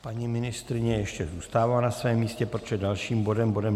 Paní ministryně ještě zůstává na svém místě, protože dalším bodem je